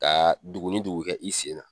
Ka dugu ni dugu kɛ i sen na.